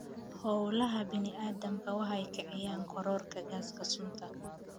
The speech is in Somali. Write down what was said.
Hawlaha bini�aadamku waxay kiciyaan kororka gaaska sunta.